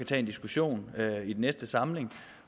tage en diskussion i den næste samling